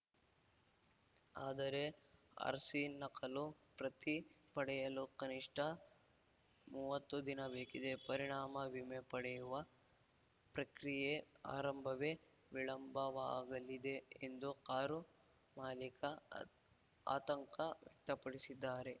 ಆದರೆ ಆರ್‌ಸಿ ನಕಲು ಪ್ರತಿ ಪಡೆಯಲು ಕನಿಷ್ಠ ಮುವತ್ತು ದಿನ ಬೇಕಿದೆ ಪರಿಣಾಮ ವಿಮೆ ಪಡೆಯುವ ಪ್ರಕ್ರಿಯೆ ಆರಂಭವೇ ವಿಳಂಬವಾಗಲಿದೆ ಎಂದು ಕಾರು ಮಾಲಿಕ ಆತಂಕ ವ್ಯಕ್ತಪಡಿಸಿದ್ದಾರೆ